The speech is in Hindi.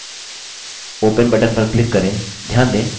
open button पर click करें